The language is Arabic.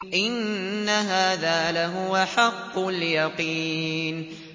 إِنَّ هَٰذَا لَهُوَ حَقُّ الْيَقِينِ